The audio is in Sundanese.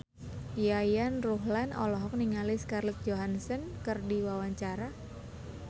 Yayan Ruhlan olohok ningali Scarlett Johansson keur diwawancara